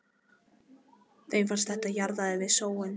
Þeim fannst að þetta jaðraði við sóun.